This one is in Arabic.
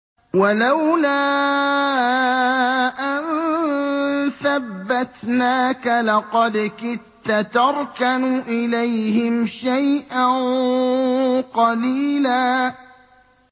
وَلَوْلَا أَن ثَبَّتْنَاكَ لَقَدْ كِدتَّ تَرْكَنُ إِلَيْهِمْ شَيْئًا قَلِيلًا